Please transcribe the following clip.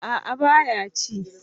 A'a ba ya ci